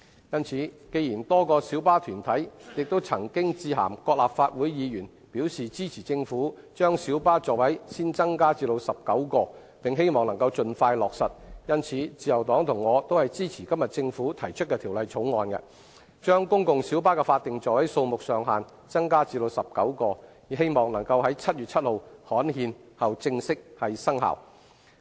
因此，既然多個小巴團體亦曾經致函各立法會議員，表示支持政府把小巴座位先增加至19個，並希望能夠盡快落實，因此自由黨及我都支持政府今天提出的《條例草案》，把公共小巴的法定座位數目上限增加至19個，以冀能在7月7日刊憲後正式生效。